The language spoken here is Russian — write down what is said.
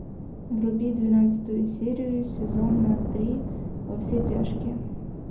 вруби двенадцатую серию сезона три во все тяжкие